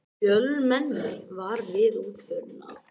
Fjölmenni var við útförina